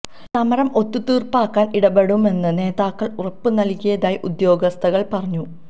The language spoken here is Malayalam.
സമരം ഒത്തു തീര്പ്പാക്കാന് ഇടപെടുമെന്ന് നേതാക്കള് ഉറപ്പ് നല്കിയതായി ഉദ്യോഗാര്ഥികള് പറഞ്ഞു